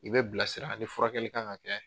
I bɛ bilasira ani furakɛli kan ka kɛ